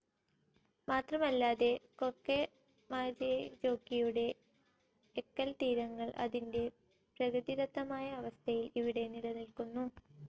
മാത്രമല്ലാതെ, കൊക്കെമായെൻജോക്കിയുടെ എക്കൽതീരങ്ങൾ അതിൻറെ പ്രകൃതിദത്തമായ അവസ്ഥയിൽ ഇവിടെ നിലനിൽക്കുന്നു.